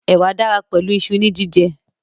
Ẹ̀wà dára pẹ̀lú iṣu ní jíjẹ